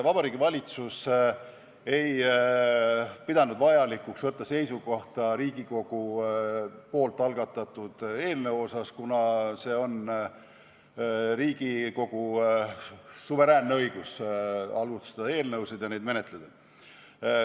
Vabariigi Valitsus ei pidanud vajalikuks võtta seisukohta Riigikogu algatatud eelnõu kohta, kuna on Riigikogu suveräänne õigus algatada eelnõusid ja neid menetleda.